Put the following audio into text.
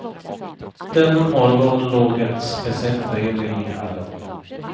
Denna morgon låg ett speciellt brev i hallen.